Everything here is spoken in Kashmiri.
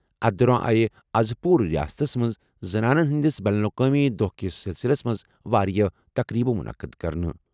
أتھہِ دوران آیہِ آز پوٗرٕ رِیاستَس منٛز زنانَن ہِنٛدِس بین الاقوٲمی دۄہَ کِس سلسلس منٛز واریاہ تقریٖبہٕ مُنعقد کرنہٕ۔